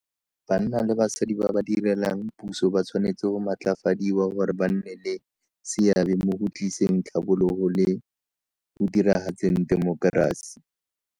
Banna le basadi ba ba direlang puso ba tshwanetse go matlafadiwa gore ba nne le seabe mo go tliseng tlhabologo le go diragatseng temokerasi.